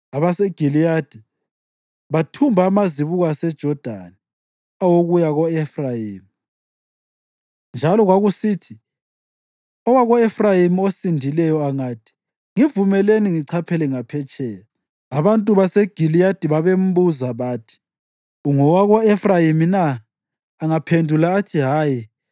AbaseGiliyadi bathumba amazibuko aseJodani awokuya ko-Efrayimi, njalo kwakusithi owako-Efrayimi osindileyo angathi, “Ngivumelani ngichaphele ngaphetsheya,” abantu baseGiliyadi babembuza bathi, “Ungowako-Efrayimi na?” Angaphendula athi, “Hayi,”